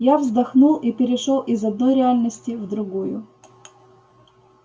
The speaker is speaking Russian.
я вздохнул и перешёл из одной реальности в другую